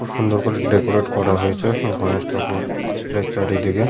খুব সুন্দর করে ডেকোরেট করা হয়েছে গণেশ ঠাকুর এর চারিদিকে।